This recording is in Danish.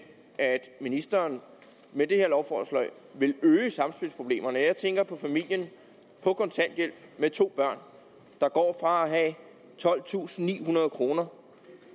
at ministeren med det her lovforslag vil øge samspilsproblemerne når jeg tænker på familien på kontanthjælp med to børn der går fra at have tolvtusinde og nihundrede kroner